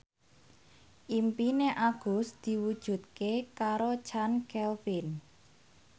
impine Agus diwujudke karo Chand Kelvin